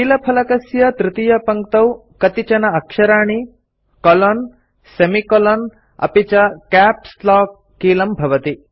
कीलफलकस्य तृतीयपङ्क्तौ कतिचन अक्षराणि कोलोन सेमिकोलोन् अपि च कैप्स् लॉक कीलं भवति